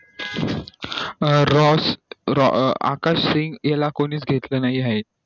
अं Ross Akash Singh याला कोणी च घेतल नाही आहे